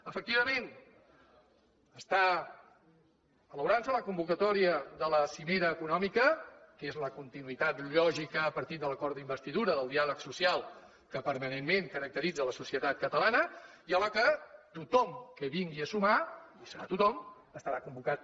efectivament s’està elaborant la convocatòria de la cimera econòmica que és la continuïtat lògica a partir de l’acord d’investidura del diàleg social que permanentment caracteritza la societat catalana i a la qual tothom que vingui a sumar hi serà tothom estarà convocat